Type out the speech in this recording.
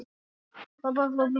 Finnst þér alltaf gaman?